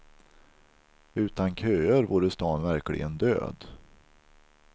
Utan köer vore stan verkligen död.